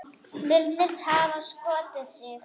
Virðist hafa skotið sig.